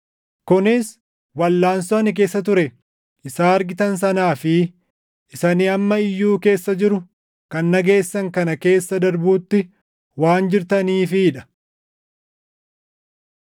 kunis walʼaansoo ani keessa ture isa argitan sanaa fi isa ani amma iyyuu keessa jiru kan dhageessan kana keessa darbuutti waan jirtaniifii dha.